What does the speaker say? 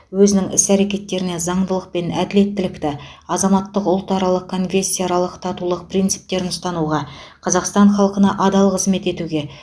өзінің іс әрекетеріне заңдылық пен әділеттілікті азаматтық ұлтаралық және конфессияаралық татулық принциптірін ұстануға қазақстан халқына адал қызмет етуге